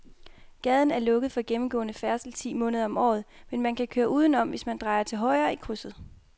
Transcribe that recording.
Gaden er lukket for gennemgående færdsel ti måneder om året, men man kan køre udenom, hvis man drejer til højre i krydset.